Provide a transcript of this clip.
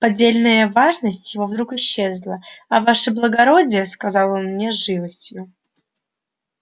поддельная важность его вдруг исчезла а ваше благородие сказал он мне с живостью